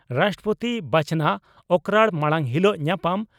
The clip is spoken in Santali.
ᱨᱟᱥᱴᱨᱚᱯᱳᱛᱤ ᱵᱟᱪᱷᱚᱱᱚᱜ ᱚᱠᱨᱟᱲ ᱢᱟᱲᱟᱝ ᱦᱤᱞᱚᱜ ᱧᱟᱯᱟᱢ